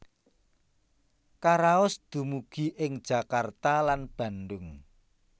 Karaos dumugi ing Jakarta lan Bandung